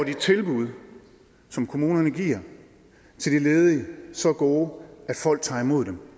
de tilbud som kommunerne giver til de ledige så gode at folk tager imod dem